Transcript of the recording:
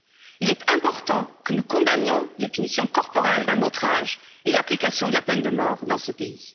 Il est important que nous condamnions les punitions corporelles d'un autre âge et l'application de la peine de mort dans ce pays.